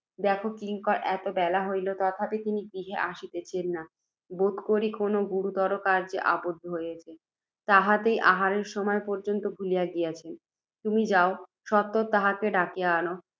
দেখ, কিঙ্কর! এত বেলা হইল, তথাপি তিনি গৃহে আসিতেছেন না। বোধ করি, কোনও গুরুতর কার্য্যে আবদ্ধ হইয়াছেন, তাহাতেই আহারের সময় পর্য্যন্ত ভুলিয়া গিয়াছেন। তুমি যাও, সত্বর তাঁহাকে ডাকিয়া আন